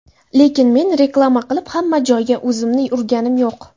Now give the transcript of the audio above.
Lekin men reklama qilib, hamma joyga o‘zimni urganim yo‘q.